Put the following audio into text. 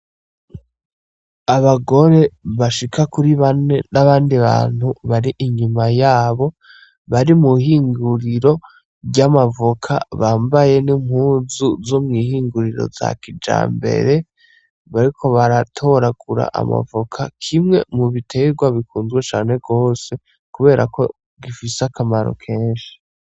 Abagore bashika kuri bane n'abandi bantu bari inyuma yabo bari mw'ihinguriro ry'amavoka bambaye n'impuzu zo mw'ihinguriro za kijambere, bariko baratoragura amavoka, kimwe mu biterwa bikunzwe cane gose kubera ko gifise akamaro kenshi.